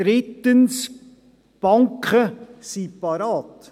Drittens, die Banken sind bereit.